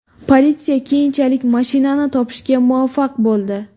Politsiya keyinchalik mashinani topishga muvaffaq bo‘ldi.